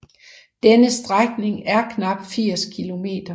Denne strækning er knap 80 km